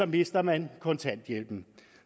mister man kontanthjælpen